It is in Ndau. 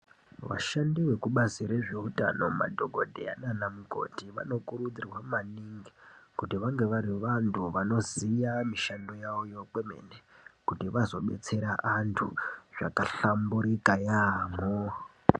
Vashandi zvekubazi rwzveutano madhokodheya nana mukoti vanokurudzirwa maningi kuti vange vari vantu vanoziya mushando yawoyo kwemen kuti vazodetsera vantu zvakahlamburika yaamho.